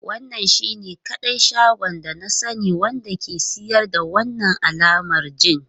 Wannan shine kadai shagon da na sani wanda ke siyar da wannan alamar gin.